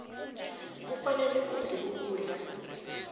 kufanele udle ukudla